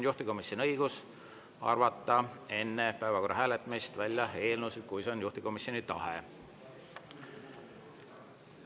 Juhtivkomisjonil on õigus arvata enne päevakorra hääletamist välja eelnõusid, kui see on juhtivkomisjoni tahe.